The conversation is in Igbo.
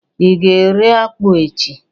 i ga ere akpu echi?